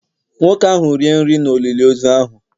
Nwoke ahụ rie nri n’olili ozu ahụ